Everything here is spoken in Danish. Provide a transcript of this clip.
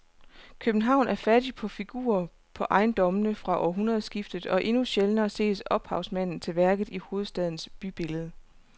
København er fattig på figurer på ejendommene fra århundredskiftet og endnu sjældnere ses ophavsmanden til værket i hovedstadens bybillede.